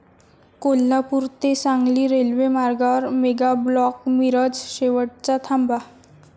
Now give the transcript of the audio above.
कोल्हापूर ते सांगली रेल्वे मार्गावर मेगाब्लॉक, मिरज शेवटचा थांबा